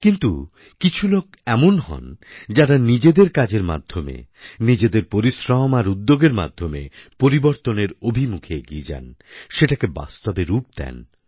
কিন্তু কিছু লোক এমন হন যাঁরা নিজেদের কাজের মাধ্যমে নিজেদের পরিশ্রম আর উদ্যোগের মাধ্যমে পরিবর্তনের অভিমুখে এগিয়ে যান সেটাকে বাস্তবে রূপ দেন